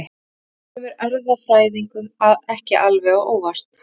Þetta kemur erfðafræðingum ekki alveg á óvart.